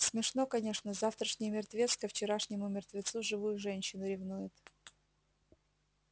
смешно конечно завтрашний мертвец ко вчерашнему мертвецу живую женщину ревнует